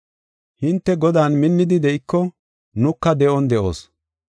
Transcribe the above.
Hinte Godan minnidi de7iko nuka de7on de7oos.